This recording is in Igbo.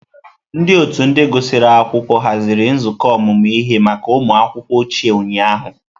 Ndị otu ndị gụsịrị akwụkwọ haziri nzukọ ọmụmụ ihe maka ụmụ akwụkwọ ochie ụnyahụ.